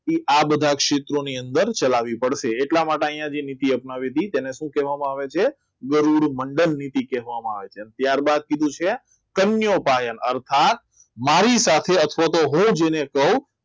તે આ બધા ક્ષેત્રોની અંદર ચલાવવી પડશે આટલા માટે અહીંયા નીતિ વપરાવી છે એને શું કહેવામાં આવે છે? ગરુડ મંડળ નીતિ કહેવામાં આવે ત્યારબાદ કીધું છે કન્યા અર્થાત મારી સાથે અથવા તો હું જેને કહું